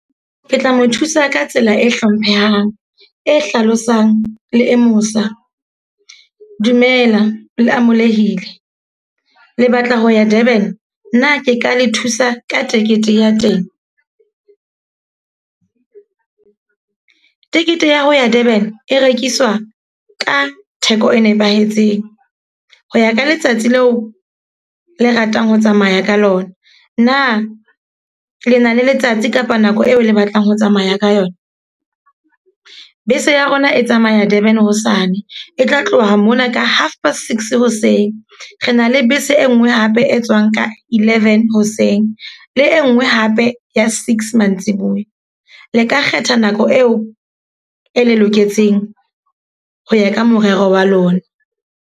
Ke tla mo thusa ka tsela e hlomphehang, e hlalosang le e mosa. Dumela, le amolehile. Le batla ho ya Durban? Na ke ka le thusa ka tekete ya teng? tekete ya ho ya Durban e rekiswa ka theko e nepahetseng. Ho ya ka letsatsi leo le ratang ho tsamaya ka lona. Na lena le letsatsi kapa nako eo le batlang ho tsamaya ka yona? Bese ya rona e tsamaya Durban hosane. E tla tloha mona ka half past six hoseng. Re na le bese e nngwe hape e tswang ka eleven hoseng. Le e nngwe hape ya six mantsibuya. Le ka kgetha nako eo e le loketseng ho ya ka morero wa lona.